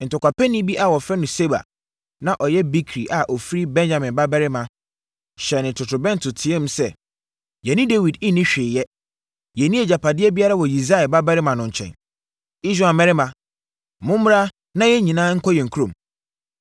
Ntɔkwapɛni bi a wɔfrɛ no Seba na ɔyɛ Bikri a ɔfiri Benyamin babarima, hyɛnee totorobɛnto teaam sɛ, “Yɛne Dawid nni hwee yɛ. Yɛnni agyapadeɛ biara wɔ Yisai babarima no nkyɛn. Israel mmarima, mommra na yɛn nyinaa nkɔ yɛn kurom!”